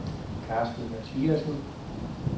Carsten Mathiassen